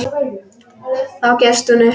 Þá gefst hún upp.